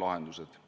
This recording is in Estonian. lahendused.